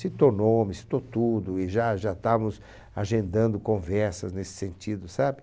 citou nome, citou tudo, e já já estávamos agendando conversas nesse sentido, sabe?